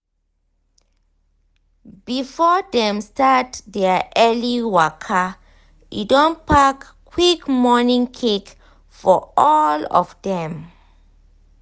before dem start their early waka e don pack quick morning cake for all of dem.